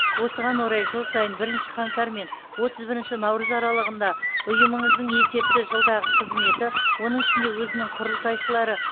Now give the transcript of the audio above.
осыған орай жыл сайын бірінші қаңтар мен отыз бірінші наурыз аралығында ұйымыңыздың есепті жылдағы қызметі оның ішінде өзінің құрылтайшылары